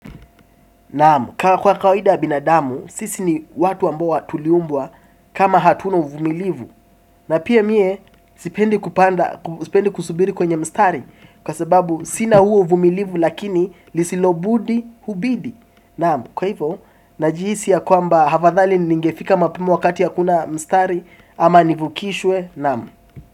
Kwa kwa kawaida ya binadamu, sisi ni watu ambao tuliumbwa kama hatuno uvumilivu. Na pia mie, sipendi kusubiri kwenye mstari. Kwa sababu, sina huo uvumilivu lakini lisilobudi hubidi. Kwa hivyo, najihisi ya kwamba hafadhari ningefika mapema wakati hakuna mstari. Ama nivukishwe, naam.